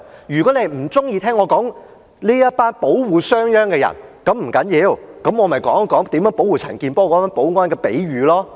如果你不喜歡我說這群保護商鞅的人，不要緊，我可以說說保護陳健波議員的保安來作比喻了。